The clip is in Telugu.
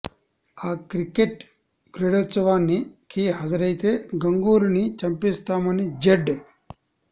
ఆ క్రికెట్ క్రీడోత్సవాని కి హాజ రైతే గంగూలీని చంపేస్తామని జెడ్